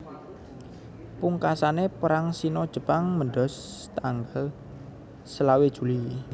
Pungkasane Perang Sino Jepang mbedhos tanggal selawe Juli